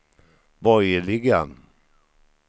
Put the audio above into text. borgerliga